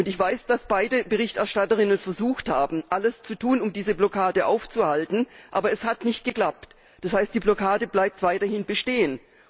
Ich weiß, dass beide Berichterstatterinnen versucht haben, alles zu tun, um diese Blockade aufzuhalten, aber es hat nicht geklappt. Das heißt, die Blockade bleibt weiterhin bestehen.